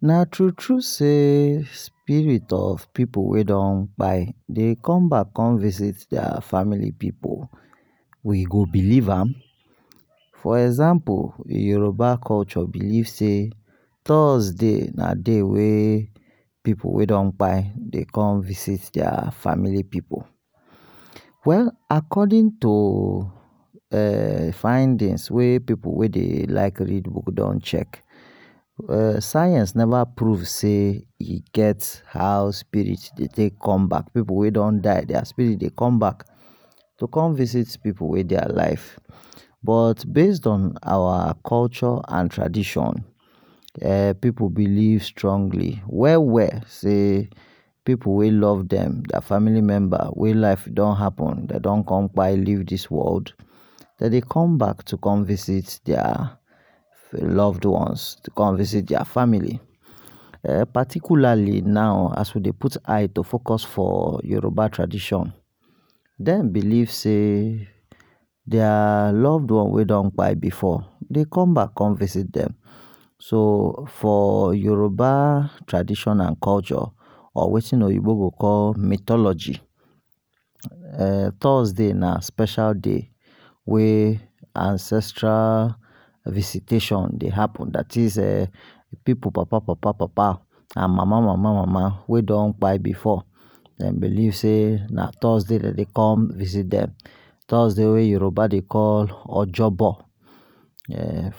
Na tru tru say spirit of pipu wey don kapi, dey come back com visit dia family pipu, we go believe am, for example Yoruba culture believe sey, thursday na day wey pipu wey don kpai dey com visit dia family pipu, well according to um findings wey pipu wey dey like read book don check, [um]science never prove sey e get how spirit dey take come back, pipu wey don die dia spirit dey come back to come visit pipu wey dey alive, but based on awa culture and tradition pipu believe strongly well well sey, pipu wey love dem dia family member wey life don happen dey don con kpai leave dis world, dem dey come back to come visit dia loved ones, to con visit dia family, um particularly now as we dey put eye to focus on Yoruba tradition dem believe sey dia loved ones wey don kpai before dey come back come visit dem so, for Yoruba tradition and culture or wetin oyinbo go call mythology um Thursday na special day wey ancestral visitation dey happen dat is [um]pipu papa papa papa and mama mama mama wey don kpai before, dem believe sey na Thursday dey dey com visit dem, Thursday Yoruba dey call ojogbo,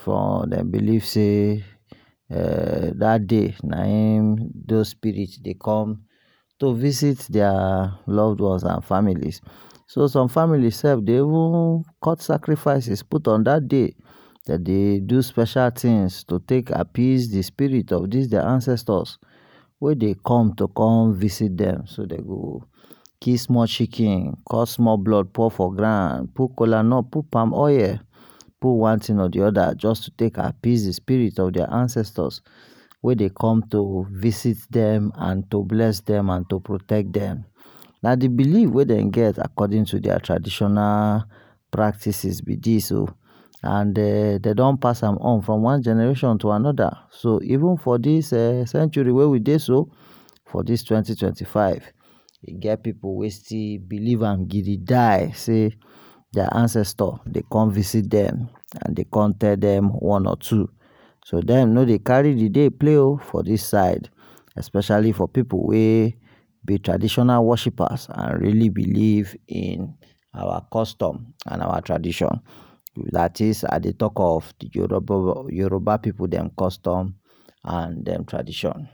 um dem believe sey um dat day nah in those spirit dey com to vist dia loved ones and families, so some families sef dey even cut sacrifices put on dat day dem dey do special things to take appease d spirit of dis dia ancestors wey dey come to come visit dem, so dem go kill small chicken, cut small blood pour for ground, put kolanut, put palm oil, put one thing or d oda jus to take appease d spirit of dia ancestors wey go con to visit dem, and to bless dem, and to protect dem, na d believe we den get according to dia traditional practices b dis o, and [um]dem don pass am on from wan generation to another so even for dis [um]century wey we dey so for dis twenty twenty five, e get pipu wey still believe am sey dia ancestor dey come visit dem and dey come tell dem one or two, so dem dey no dey carry d day play o for dis side, especially for pipu wey b traditional worshippers and really believe in our custom and our tradition, dat is I dey talk of d Yoruba pipu dem custom and tradition.